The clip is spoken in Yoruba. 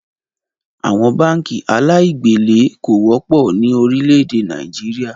Àwọn báànkì aláì gbèlé kò wọ́pọ̀ ni Orílẹ̀ èdè Nàìjíríà